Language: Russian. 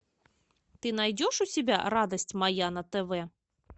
ты найдешь у себя радость моя на тв